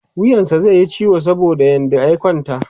wuyansa zaiyi ciwo saboda yadda ya kwanta